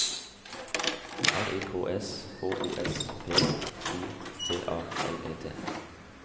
R I K S H O S P I T A L E T